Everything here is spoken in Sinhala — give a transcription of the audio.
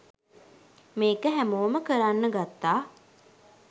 මේක හැමෝම කරන්න ගත්තා